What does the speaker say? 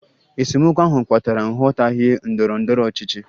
Esemokwu ahụ kpatara nghọtahie ndọrọ ndọrọ ọchịchị